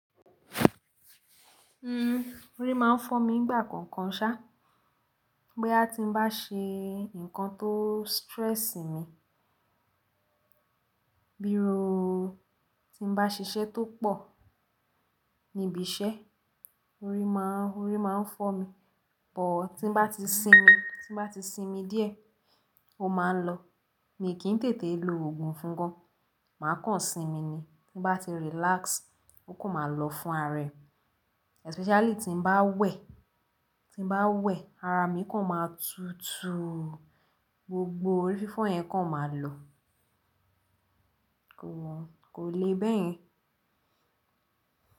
Orí máa ń fọ́ mi nígbà kọ̀ọ̀kan ṣá, boya ti ń bá ṣe nǹkan tó stress mi, bíru tí n bá ṣiṣẹ́ tó pọ̀ níbi iṣẹ́, orí máa ń fọ́ mi. But tí n bá ti sinmi, tí n bá ti sinmi díẹ̀ ó máa ń lọ. Mi kì n tètè lo òogùn fún gan, màá kàn sinmi ni. Tí n bá ti relax ó kò n máa lọ fún ará rẹ. Especially tí ń bá wẹ̀, tí ń bá wẹ̀ ara mi kan máa tutù, gbogbo orí fífọ́ yẹn kan máa lọ. Kò wọ́n, kò le bẹ́ẹ̀ yẹn.